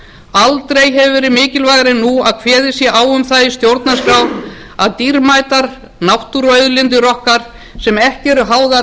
aldrei hefur verið mikilvægara en nú að kveðið sé á um það í stjórnarskrá að dýrmætar náttúruauðlindir okkar sem ekki eru háðar